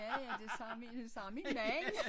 Ja ja det sagde min det sagde min mand